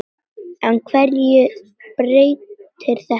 En hverju breytir þetta?